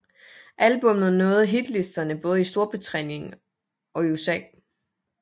Albummet nåede hitlisterne både i Storbritannien og i USA